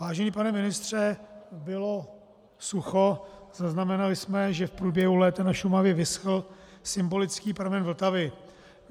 Vážený pane ministře, bylo sucho, zaznamenali jsme, že v průběhu léta na Šumavě vyschl symbolický pramen Vltavy.